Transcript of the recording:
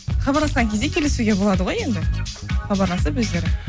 хабарласқан кезде келісуге болады ғой енді хабарласып өздері